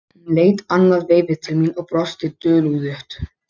Hún leit annað veifið til mín og brosti dulúðugt.